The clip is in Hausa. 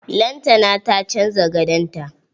Lantana ta canza gadon ta.